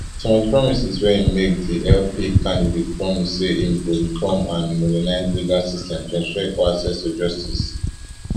some of di promises wey e make di lp candidate promise say im go reform and modernize legal system to ensure equal access to justice